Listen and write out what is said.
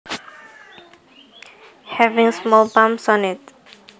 Having small bumps on it